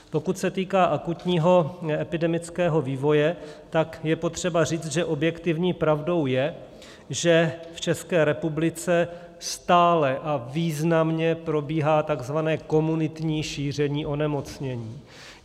Pokud se týká akutního epidemického vývoje, tak je potřeba říct, že objektivní pravdou je, že v České republice stále a významně probíhá tzv. komunitní šíření onemocnění.